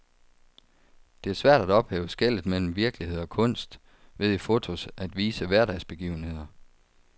Det er svært at ophæve skellet mellem virkelighed og kunst ved i fotos at vise hverdagsbegivenheder.